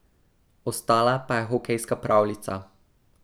Ostala pa je hokejska pravljica.